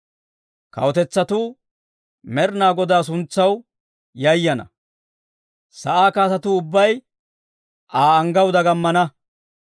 Kawutetsatuu Med'inaa Godaa suntsaw yayana; sa'aa kaatetuu ubbay Aa anggaw dagamana.